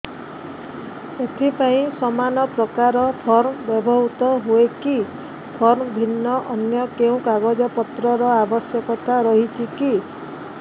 ଏଥିପାଇଁ ସମାନପ୍ରକାର ଫର୍ମ ବ୍ୟବହୃତ ହୂଏକି ଫର୍ମ ଭିନ୍ନ ଅନ୍ୟ କେଉଁ କାଗଜପତ୍ରର ଆବଶ୍ୟକତା ରହିଛିକି